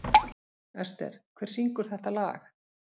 Ester, hver syngur þetta lag?